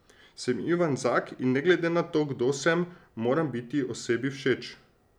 Sem Ivan Zak in ne glede na to, kdo sem, moram biti osebi všeč.